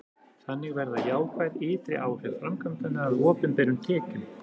þannig verða jákvæð ytri áhrif framkvæmdanna að opinberum tekjum